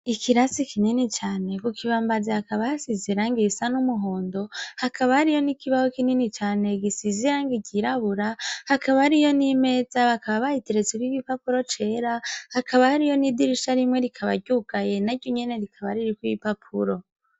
Ikirasi kinini cane kukibambazi hakaba hashize irangi risa numuhondo hakaba hariho nikibaho kinini cane gisize irangi ryirabura hakaba hariyo nimeza bakaba bayiteretseko igipapuro cera hakaba hariyo nidirisha rimwe rikaba ryugaye naryonyene rikaba ririko ibipapuro